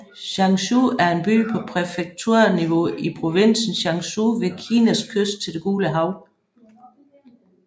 Changzhou er en by på præfekturniveau i provinsen Jiangsu ved Kinas kyst til det Gule Hav